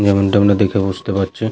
যেমনটা আমরা দেখে বুঝতে পারছি--